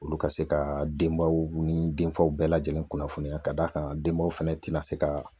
Olu ka se ka denbaw ni denfaw bɛɛ lajɛlen kunnafoniya ka d'a kan denbaw fɛnɛ tɛna se ka